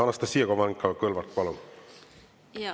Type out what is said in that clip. Anastassia Kovalenko-Kõlvart, palun!